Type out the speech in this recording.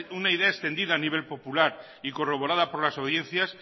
una una idea extendida a nivel popular y corroborada por las audiencia